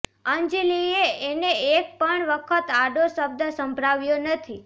અંજલિએ એને એક પણ વખત આડો શબ્દ સંભળાવ્યો નથી